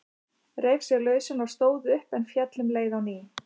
Reif sig lausan og stóð upp, en féll um leið á ný.